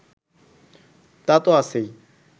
তা তো আছেই